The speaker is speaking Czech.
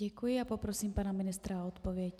Děkuji a poprosím pana ministra o odpověď.